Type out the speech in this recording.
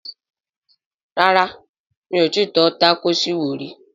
Rárá mi ò tọ́ tákòòsì wò rí